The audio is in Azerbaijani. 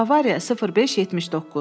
Bavariya 05 79.